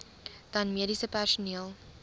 dan mediese personeel